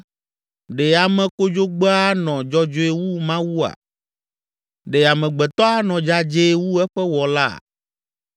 ‘Ɖe ame kodzogbea anɔ dzɔdzɔe wu Mawua? Ɖe amegbetɔ anɔ dzadzɛe wu eƒe Wɔlaa?